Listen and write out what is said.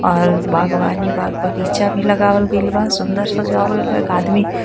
और बागवानी बाग बगीचा भी लगावल गइल बा सुन्दर सजावल गइल बा एक आदमी--